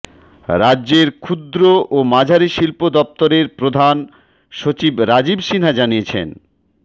রাজ্যের ক্ষুদ্র ও মাঝারি শিল্প দফতরের প্রধান সচিব রাজীব সিনহা জানিয়েছেন